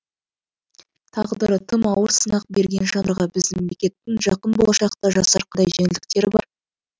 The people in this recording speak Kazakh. тағдыры тым ауыр сынақ берген жандарға біздің мемлекеттің жақын болашақта жасар қандай жеңілдіктері бар